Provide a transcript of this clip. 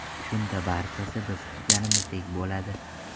Shunda barchasi biz kutganimizdek bo‘ladi.